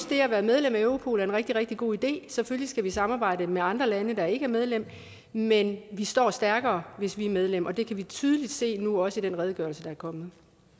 det at være medlem af europol er en rigtig rigtig god idé selvfølgelig skal vi samarbejde med andre lande der ikke er medlem men vi står stærkere hvis vi er medlem og det kan vi tydeligt se nu også i den redegørelse der er kommet